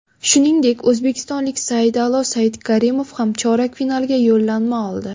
Shuningdek, o‘zbekistonlik Saida’lo Saidkarimov ham chorak finalga yo‘llanma oldi.